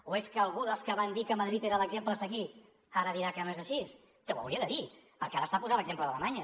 o és que algú dels que van dir que madrid era l’exemple a seguir ara dirà que no és així que ho hauria de dir perquè ara està posant l’exemple d’alemanya